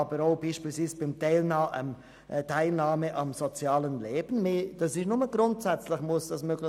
Beispielsweise muss auch die Teilnahme am sozialen Leben nur «grundsätzlich» möglich sein.